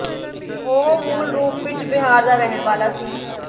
ਉਹ ਮੂਲ ਰੂਪ ਵਿੱਚ ਬਿਹਾਰ ਦਾ ਰਹਿਣ ਵਾਲਾ ਸੀ